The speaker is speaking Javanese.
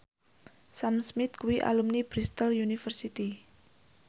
Sam Smith kuwi alumni Bristol university